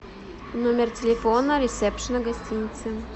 номер телефона ресепшена гостиницы